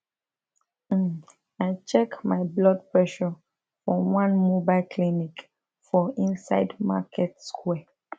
um i check my blood pressure for one mobile clinic for inside market square